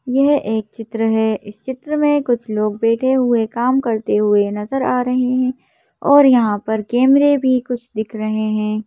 यह एक चित्र है इस चित्र में कुछ लोग बैठे हुए काम करते हुए नजर आ रहे हैं और यहां पर कैमरे भी कुछ दिख रहे हैं।